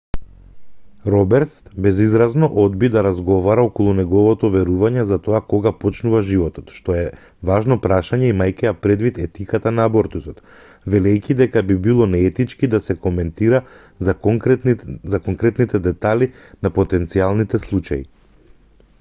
робертс безизразно одби да разговара околу неговото верување за тоа кога почнува животот што е важно прашање имајќи ја предвид етиката на абортусот велејќи дека би било неетички да се коментира за конкретните детали на потенцијалните случаи